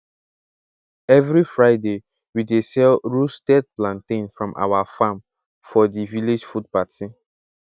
every fridaywe dey sell roasted plantain from our farm for the village food party